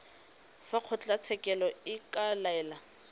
fa kgotlatshekelo e ka laela